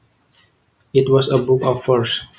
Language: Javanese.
It was a book of verse